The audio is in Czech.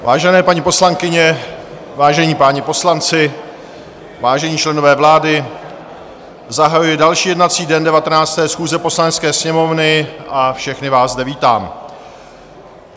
Vážené paní poslankyně, vážení páni poslanci, vážení členové vlády, zahajuji další jednací den 19. schůze Poslanecké sněmovny a všechny vás zde vítám.